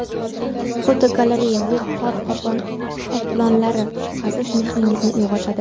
Fotogalereya: Bu qor qoplonlari shubhasiz mehringizni uyg‘otadi.